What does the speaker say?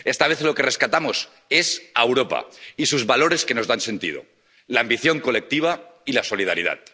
Esta vez lo que rescatamos es a Europa y sus valores, que nos dan sentido la ambición colectiva y la solidaridad.